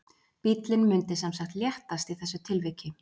Bíllinn mundi sem sagt léttast í þessu tilviki.